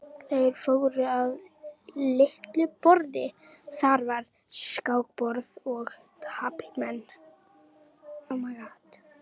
Þeir fóru að litlu borði, þar var skákborð og taflmenn.